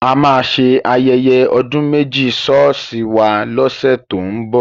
A máa ṣe ayẹyẹ ọdún méjì ṣọ́ọ̀ṣì wa lọ́sẹ̀ tó ń bọ̀.